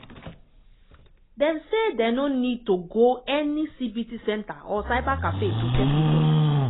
dem say dem no need to go any cbt centre or cybercafé to check results.